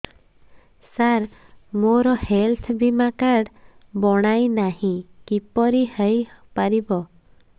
ସାର ମୋର ହେଲ୍ଥ ବୀମା କାର୍ଡ ବଣାଇନାହିଁ କିପରି ହୈ ପାରିବ